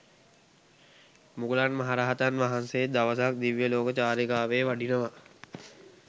මුගලන් මහරහතන් වහන්සේ දවසක් දිව්‍යලෝක චාරිකාවේ වඩිනවා.